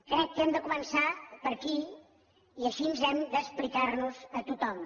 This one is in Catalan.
crec que hem de començar per aquí i així hem d’explicar nos a tothom